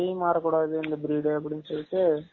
கை மாரகூடாது இந்த breed அப்டினு சொல்லிட்டு